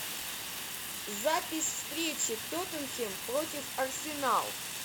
запись встречи тоттенхэм против арсенал